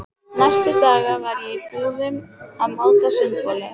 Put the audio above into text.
Næstu daga var ég í búðum að máta sundboli.